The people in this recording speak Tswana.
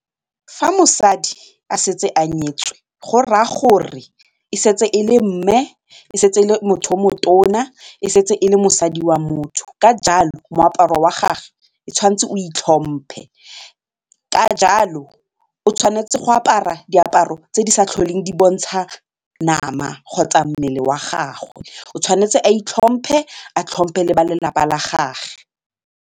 Fa mosadi a setse a nyetswe go raya gore e setse e le mme, e setse e le motho yo motona, e setse e le mosadi wa motho ka jalo moaparo wa gage e tshwanetse o itlhomphe ka jalo o tshwanetse go apara diaparo tse di sa tlholeng di bontsha nama kgotsa mmele wa gagwe, o tshwanetse a itlhomphe a tlhomphe le ba lelapa la gage.